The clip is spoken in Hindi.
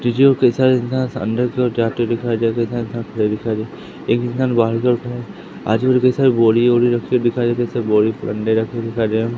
अंदर की ओर जाते दिखाई दे खड़े दिखाई दे एक इंसान बाहर की ओर खड़े आजु-बाजु सब बोरी वोरी रखी हुई दिखाई दे रहे दिखाई दे रहे --